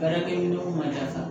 Baarakɛminɛnw ma sa